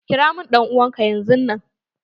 Kira min dan'uwan ka yanzun nan!